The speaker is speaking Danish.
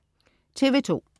TV2: